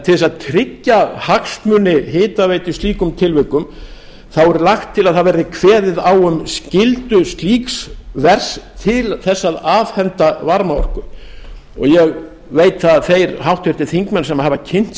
til að tryggja hagsmuni hitaveitu í slíkum tilvikum er lagt til að það verði kveðið á um skyldu slíks vers til þess að afhenda varmaorku ég veit að þeir háttvirtir þingmenn sem hafa kynnt